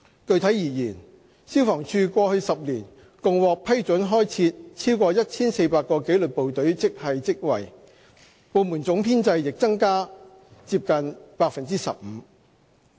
具體而言，消防處過去10年共獲批准開設超過 1,400 個紀律部隊職系職位，部門總編制亦增加近 15%。